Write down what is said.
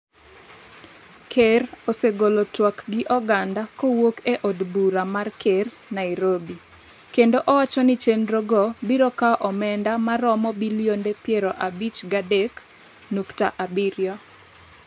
Ker osegolo twak gi oganda kowuok e od bura mar ker, Nairobi kendo owacho ni chenrogo biro kawo omenda ma romo bilionde piero abich gi adek nukta abiriyo